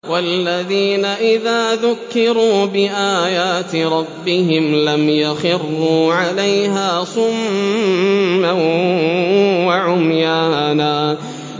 وَالَّذِينَ إِذَا ذُكِّرُوا بِآيَاتِ رَبِّهِمْ لَمْ يَخِرُّوا عَلَيْهَا صُمًّا وَعُمْيَانًا